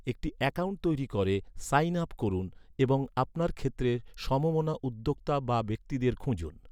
একটি অ্যাকাউন্ট তৈরি করে 'সাইন আপ' করুন এবং আপনার ক্ষেত্রের সমমনা উদ্যোক্তা বা ব্যক্তিদের খুঁজুন।